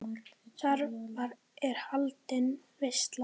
Þar er haldin veisla.